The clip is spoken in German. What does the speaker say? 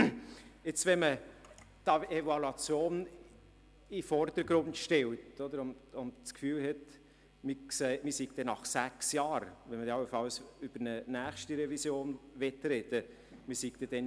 Stellt man jetzt die Evaluation in den Vordergrund oder hat man das Gefühl, wir seien schlauer, weil man es dann nach sechs Jahren sieht, wenn wir dann allenfalls über eine nächste Revision reden werden: